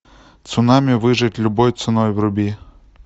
цунами выжить любой ценой вруби